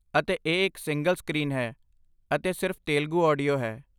ਅਤੇ ਇਹ ਇੱਕ ਸਿੰਗਲ ਸਕਰੀਨ ਹੈ ਅਤੇ ਸਿਰਫ ਤੇਲਗੂ ਆਡੀਓ ਹੈ।